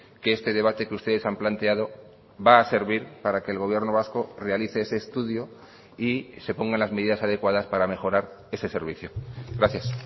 que este debate que ustedes han planteado va a servir para que el gobierno vasco realice ese estudio y se pongan las medidas adecuadas para mejorar ese servicio gracias